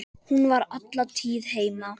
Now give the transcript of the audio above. Hún var alla tíð heima.